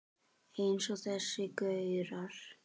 Eins og þessir gaurar!